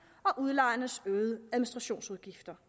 og udlejernes øgede administrationsudgifter